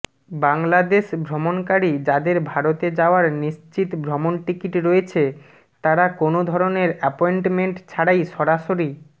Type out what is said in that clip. বাংলাদেশ ভ্রমণকারী যাদের ভারতে যাওয়ার নিশ্চিত ভ্রমণ টিকিট রয়েছে তারা কোনো ধরনের অ্যাপয়েন্টমেন্ট ছাড়াই সরাসরি